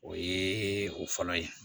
O ye o fɔlɔ ye